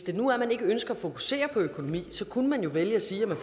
nu ikke ønsker at fokusere på økonomi kunne man jo vælge at sige at man